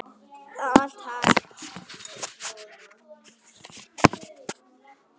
Það er allt hægt.